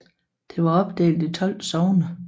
Det var opdelt i 12 sogne